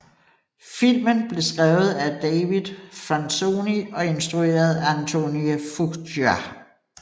Filmen blev skrevet af David Franzoni og instrueret af Antoine Fuqua